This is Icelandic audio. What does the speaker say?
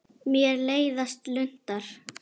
Mér leiðast luntar.